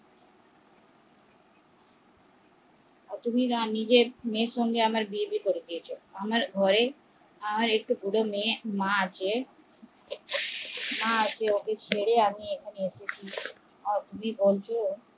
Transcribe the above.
তুমি আমার সঙ্গে তোমার মেয়ের বিয়ে কি করে দিচ্ছ আমার মা আছে